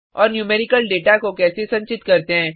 और numerical data को कैसे संचित करते हैं